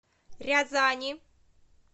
рязани